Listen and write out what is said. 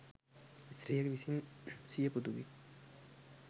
ස්ත්‍රියක විසින් සිය පුතුගේ